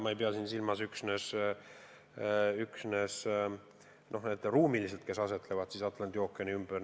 Ma ei pea siin silmas üksnes riike, kes otseselt asetsevad Atlandi ookeani ümber.